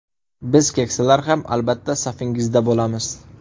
Biz keksalar ham, albatta, safingizda bo‘lamiz.